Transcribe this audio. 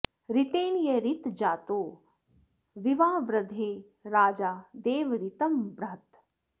ऋ॒तेन॒ य ऋ॒तजा॑तो विवावृ॒धे राजा॑ दे॒व ऋ॒तं बृ॒हत्